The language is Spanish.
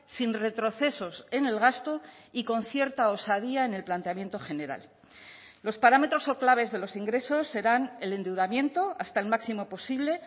sin retrocesos en el gasto y con cierta osadía en el planteamiento general los parámetros o claves de los ingresos serán el endeudamiento hasta el máximo posible